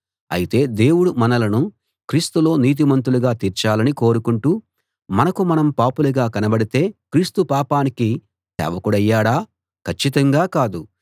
అయితే దేవుడు మనలను క్రీస్తులో నీతిమంతులుగా తీర్చాలని కోరుకొంటూ మనకు మనం పాపులుగా కనబడితే క్రీస్తు పాపానికి సేవకుడయ్యాడా కచ్చితంగా కాదు